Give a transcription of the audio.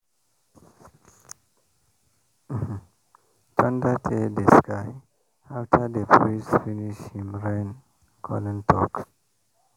um thunder tear di sky after di priest finish him rain-calling talk.